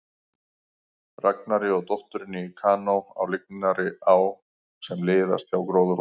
Ragnari og dótturinni í kanó á lygnri á sem liðaðist hjá gróðurhúsunum.